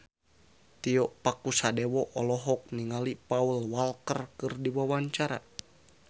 Tio Pakusadewo olohok ningali Paul Walker keur diwawancara